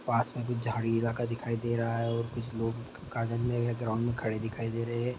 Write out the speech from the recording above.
पास में कुछ झाड़ी इलाका दिखाई दे रहा है और कुछ लोग गार्डन में या ग्राउंड में खड़े दिखाई दे रहा है।